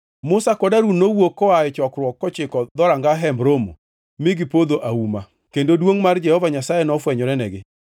Musa kod Harun nowuok koa e chokruok kochiko dhoranga Hemb Romo mi gipodho auma, kendo duongʼ mar Jehova Nyasaye nofwenyorenegi.